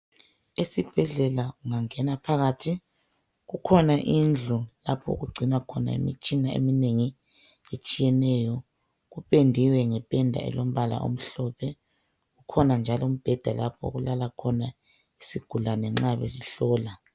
Esibhedlela ungangena phakathi kukhona indlu lapho okugcinwa khona imitshina eminengi etshiyeneyo kupendiwe ngependa elombala omhlophe ukhona njalo umbheda okulala khona isigulane nxa besihlola.